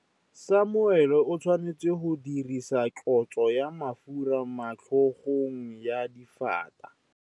Samuele o tshwanetse go dirisa tlotsô ya mafura motlhôgong ya Dafita.